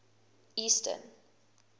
eastern